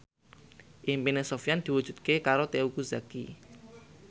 impine Sofyan diwujudke karo Teuku Zacky